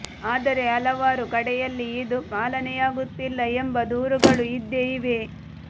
ಆದರೆ ಹಲವಾರು ಕಡೆಯಲ್ಲಿ ಇದು ಪಾಲನೆಯಾಗುತ್ತಿಲ್ಲ ಎಂಬ ದೂರುಗಳು ಇದ್ದೇ ಇವೆ